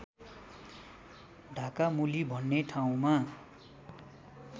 ढाकामुली भन्ने ठाउँमा